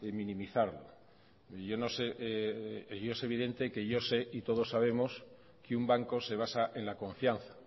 minimizarlo y es evidente que yo sé y todos sabemos que un banco se basa en la confianza